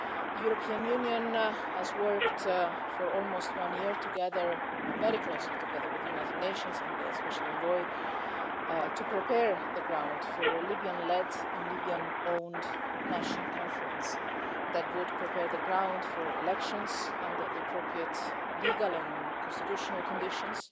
The European Union has worked for almost one year together very closely together with the United Nations and the Special Envoy to prepare the ground for a Libyan led and Libyan owned National Conference that would prepare the ground for elections under the appropriate legal and constitutional conditions,